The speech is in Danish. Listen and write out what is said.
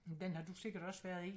Den har du sikkert også været i